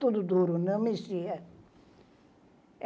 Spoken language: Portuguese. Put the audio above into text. Tudo duro, não mexia.